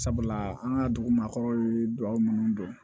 Sabula an ka dugu ma kɔrɔ ye dugawu munnu don